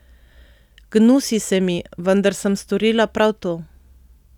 Gnusi se mi, vendar sem storila prav to.